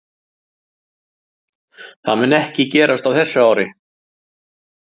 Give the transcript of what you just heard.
Það mun ekki gerast á þessu ári.